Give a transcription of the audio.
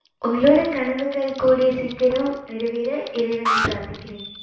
உங்களோட கனவுகள் கூடிய சீகரம் நிறைவேற இறைவனை பிராத்திகறேன்